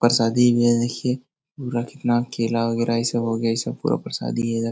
परसादी ये देखिये। पूरा कितना केला वगैरा ये सब हो गया। ये सब पूरा परसादी है इधर।